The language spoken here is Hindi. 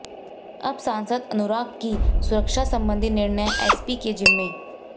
अब सांसद अनुराग की सुरक्षा संबंधी निर्णय एसपी के जिम्मे